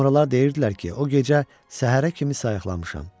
Sonralar deyirdilər ki, o gecə səhərə kimi sayıqlamışam.